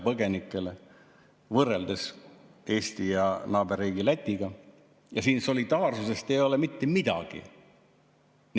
Kui võrrelda Eestit naaberriigi Lätiga, siis siin solidaarsusest ei ole mitte midagi.